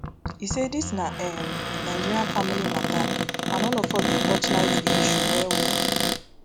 e say dis na um nigeria family mata and all of us dey torchlight di issue wellwell